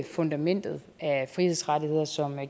fundamentet af frihedsrettigheder som